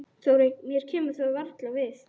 Mér kemur það varla við.